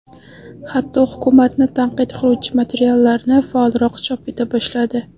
Hatto, hukumatni tanqid qiluvchi materiallarni faolroq chop eta boshladi.